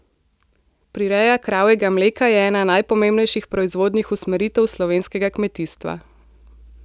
Prireja kravjega mleka je ena najpomembnejših proizvodnih usmeritev slovenskega kmetijstva.